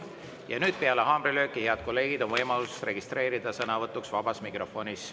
Ja nüüd peale haamrilööki, head kolleegid, on võimalus registreeruda sõnavõtuks vabas mikrofonis.